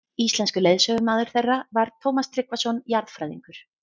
Íslenskur leiðsögumaður þeirra var Tómas Tryggvason jarðfræðingur.